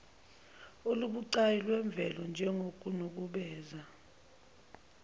olubucayi lwezemvelo njengokunukubeza